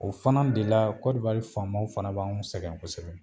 O fana de la faamaw fana ba anw sɛgɛn kɔsɛbɛ.